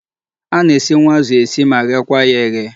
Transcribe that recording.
A na-esinwu azụ esi ma ghekwa ya eghe.